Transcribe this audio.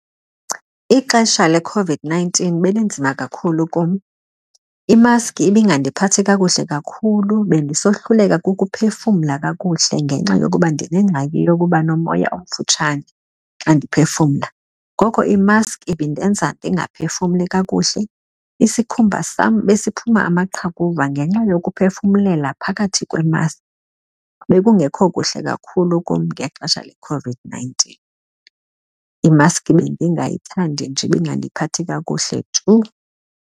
Ixesha leCOVID-nineteen belinzima kakhulu kum. Imaski ibingandiphathi kakuhle kakhulu, bendisohluleka ukuphefumla kakuhle ngenxa yokuba ndinengxaki yokuba nomoya omfutshane xa ndiphefumla. Ngoko imaski indenza ndingaphefumli kakuhle, isikhumba sam besiphuma amaqhakuva ngenxa yokuphefumla phakathi kwemaski. Bekungekho kuhle kakhulu kum ngexesha leCOVID-nineteen. Imaski bendingayithandi nje ibingandiphathi kakuhle tu.